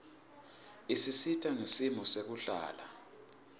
isisita ngesimo sekuhlala